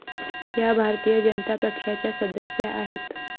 या भारतीय जनता पक्षाच्या सदस्या आहेत